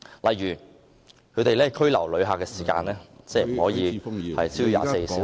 例如，拘留旅客的時間不得超過24小時......